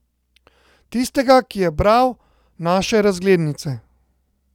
Tistega, ki je bral naše razglednice?